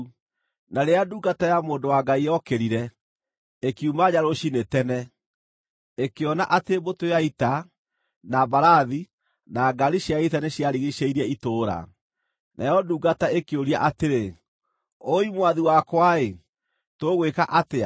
Na rĩrĩa ndungata ya mũndũ wa Ngai yokĩrire, ĩkiuma nja rũciinĩ tene, ĩkĩona atĩ mbũtũ ya ita, na mbarathi, na ngaari cia ita nĩciarigiicĩirie itũũra. Nayo ndungata ĩkĩũria atĩrĩ, “Wũi, mwathi wakwa-ĩ, tũgwĩka atĩa?”